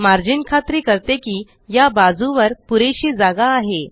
margin खात्री करते कि या बाजूवर पुरेशी जागा आहे